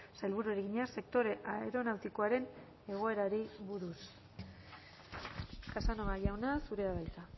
sailburuari egina sektore aeronautikoaren egoerari buruz casanova jauna zurea da hitza